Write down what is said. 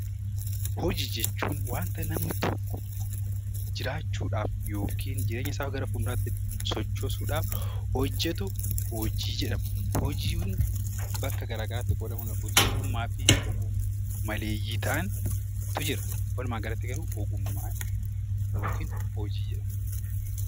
Hojii jechuun wanta namni tokko jiraachuuf yookiin jireenya isaa gara fuulduraa sochoosuudhaaf hojjatu hojii jedhama. Hojiin bakka garaagaraatti qoodamuu ni danda'a. Hojii ogummaa fi maleeyyii ta'antu Jira. Walumaa galatti garuu hojii jedhamu